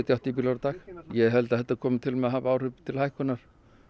áttatíu bílar á dag ég held að þetta komi til með að hafa áhrif til hækkunar